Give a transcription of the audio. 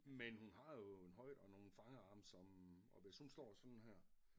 Men hun har jo en højde og nogle fangarme som og hvis hun står sådan her